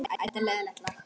spurði ég um síðir.